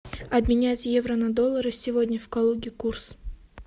обменять евро на доллары сегодня в калуге курс